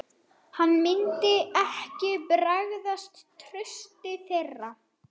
Hann myndi ekki bregðast trausti þeirra.